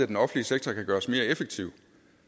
den offentlige sektor kan gøres mere effektiv